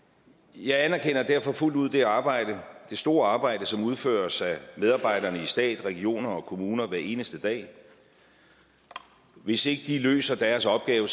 jeg anerkender derfor fuldt ud det arbejde det store arbejde som udføres af medarbejderne i stat regioner og kommuner hver eneste dag hvis ikke de løser deres opgave